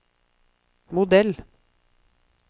modell